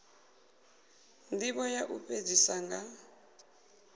ndivho ya u fhedzisa nga